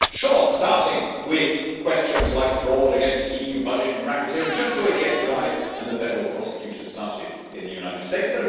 Yes, sure, starting with questions like fraud against the EU budget and racketeering is just the way the FBI and the federal prosecutors started in the United States.